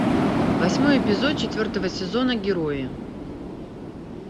восьмой эпизод четвертого сезона герои